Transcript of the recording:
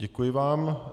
Děkuji vám.